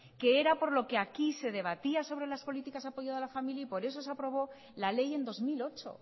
que era por lo que aquí se debatía sobre las políticas apoyo de la familia y por eso se aprobó la ley en dos mil ocho